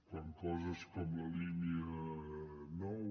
quant a coses com la línia nou